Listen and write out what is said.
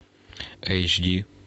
эйч ди